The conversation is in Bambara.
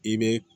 I bɛ